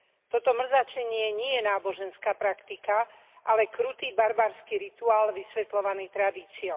Toto mrzačenie nie je náboženská praktika, ale krutý, barbarský rituál vysvetľovaný tradíciou.